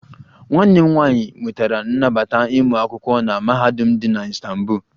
Nwanne m nwanyị nwetara nnabata ịmụ akwụkwọ na mahadum dị na Istanbul